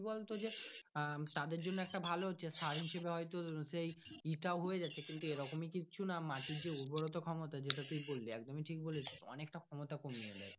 কি বলতো যে আহ তাদের জন্য একটা ভালো আছে হয়তো সেই এ টা হয়েযাচ্ছে কিন্ত এরকমই কিছু না মাটির যে উর্বরোতা ক্ষমতা তুই বলবি একদমই ঠিক বলেছে অনেকটা ক্ষমতা কোমিয়ে দেয়।